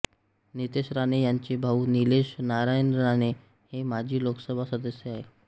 नितेश राणे ह्यांचे भाऊ निलेश नारायण राणे हे माजी लोकसभा सदस्य आहेत